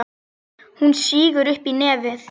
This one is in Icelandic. Hún sýgur upp í nefið.